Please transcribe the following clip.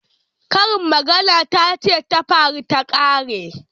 Karin magana tace tafaru takare.